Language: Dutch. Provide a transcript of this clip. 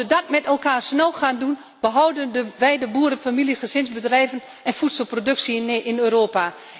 Als we dat met elkaar snel gaan doen, behouden wij de boerenfamilie en gezinsbedrijven en voedselproductie in Europa.